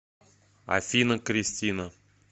афина кристина